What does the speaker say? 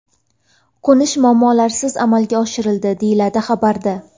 Qo‘nish muammolarsiz amalga oshirildi”, deyiladi xabarda.